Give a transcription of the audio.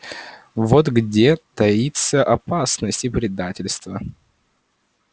вот где таится опасность и предательство